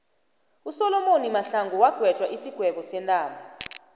usolomoni mahlangu wagwetjwa isigwebo sentambo